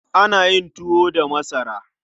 Ana yin tuwo da masara.